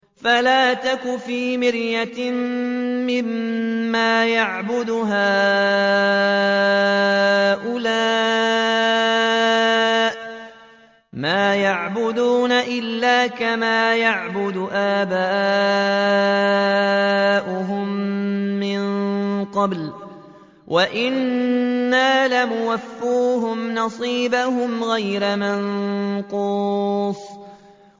فَلَا تَكُ فِي مِرْيَةٍ مِّمَّا يَعْبُدُ هَٰؤُلَاءِ ۚ مَا يَعْبُدُونَ إِلَّا كَمَا يَعْبُدُ آبَاؤُهُم مِّن قَبْلُ ۚ وَإِنَّا لَمُوَفُّوهُمْ نَصِيبَهُمْ غَيْرَ مَنقُوصٍ